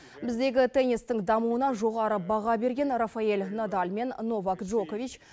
біздегі теннистің дамуына жоғары баға берген рафаэль надаль мен новак джокович